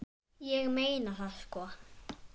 Ég meina það sko.